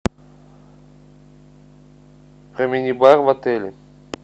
про мини бар в отеле